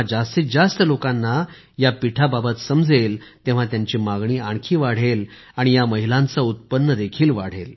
जेव्हा जास्तीत जास्त लोकांना या पीठाबाबत समजले तेव्हा त्यांची मागणी आणखी वाढली आणि या महिलांचे उत्पन्न देखील